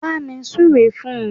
Bámi súre fún un!